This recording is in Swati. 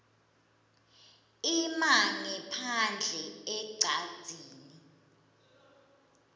ima ngephandle ecadzini